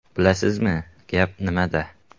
Bilasizmi, gap nimada?